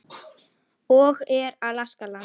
og Er Alaska land?